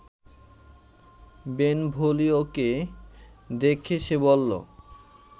বেনভোলিওকে দেখে সে বলল